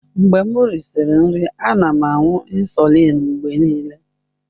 Mgbe m risịrị nri, ana m aṅụ insulin mgbe niile.